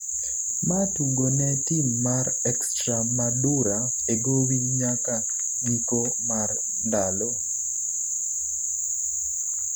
ma tugo ne tim mar Extremadura e gowi nyaka giko mar ndalo